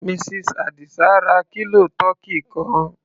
Mrs. Àdìsá ra kílò tọkí kan.